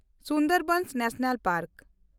ᱥᱩᱱᱫᱚᱨᱵᱚᱱ ᱡᱟᱹᱛᱤᱭᱟᱹᱨᱤ ᱵᱟᱜᱽᱣᱟᱱ